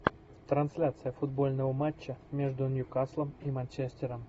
трансляция футбольного матча между ньюкаслом и манчестером